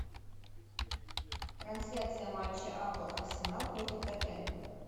трансляция матча апл арсенал против тоттенхэм